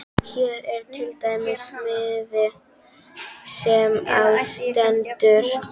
Hér er til dæmis miði sem á stendur